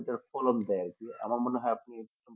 এটার ফলন দেয় আর কি আমার মনে হয় আপনি